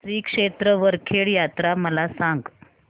श्री क्षेत्र वरखेड यात्रा मला सांग